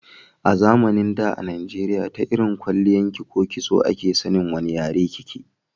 A zamanin da a najeriya ta irin kwalliyan ko kitso a ke san wani yare ki ke